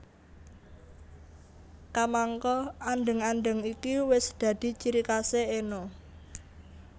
Kamangka andheng andheng iki wis dadi ciri khasé Enno